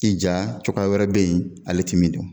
I ja cogoya wɛrɛ beyi ale ti min dɔn.